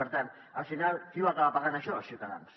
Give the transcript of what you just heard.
per tant al final qui ho acaba pagant això els ciutadans